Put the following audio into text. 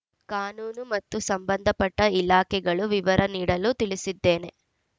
ಕಾನೂನು ಮತ್ತು ಸಂಬಂಧಪಟ್ಟಇಲಾಖೆಗಳು ವಿವರ ನೀಡಲು ತಿಳಿಸಿದ್ದೇನೆ